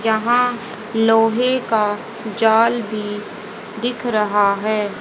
यहां लोहे का जाल भी दिख रहा है।